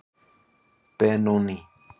Benóný